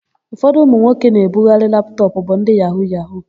Ụfọdụ ụmụnwoke na-ebugharị laptọpụ bụ ndị yahu-yahu.